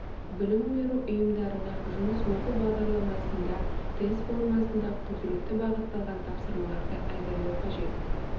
білім беру ұйымдарына жұмыс оқу бағдарламасында тест формасында құзыретті бағытталған тапсырмаларды әзірлеу қажет